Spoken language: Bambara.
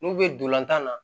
N'u bɛ ntolantan na